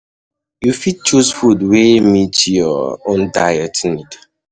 You fit choose food wey um meet your um own diet needs